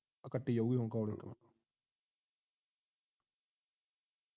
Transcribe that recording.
ਆ ਕੱਟੀ ਜਾਊਗੀ ਹੁਣ call ਓਥੋਂ